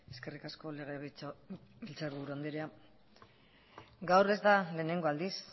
eskerrik asko legebiltzarburu andrea gaur ez da lehenengo aldiz